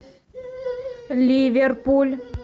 ливерпуль